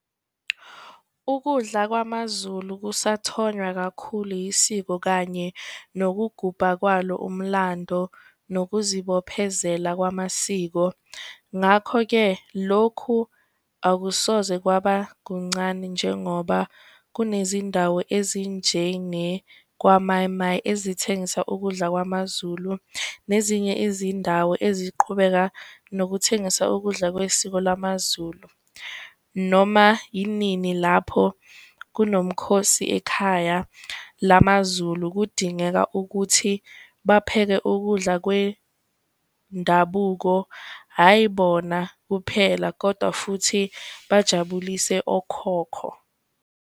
Ukudla kwamaZulu kusathonywa kakhulu yisiko kanye nokugubha kwalo umlando, nokuzibophezela kwamasiko ngakho-ke lokhu akusoze kwaba kuncane. Njengoba kunezindawo ezinjenge kwaMai-Mai, ezithengisa ukudla kwamaZulu nezinye izindawo eziqhubeka nokuthengisa ukudla kwesiko lwamaZulu. Noma inini lapho kunomkhosi ekhaya lamaZulu kudingeka ukuthi bapheke ukudla kwewendabuko, hhayi bona kuphela kodwa futhi bajabulise okhokho.